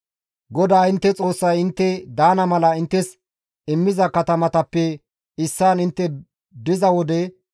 GODAA intte Xoossay intte daana mala inttes immiza katamatappe issaan intte diza wode,